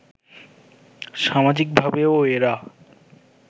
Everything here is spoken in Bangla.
সামাজিকভাবেও এরা